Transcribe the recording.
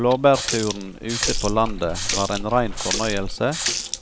Blåbærturen ute på landet var en rein fornøyelse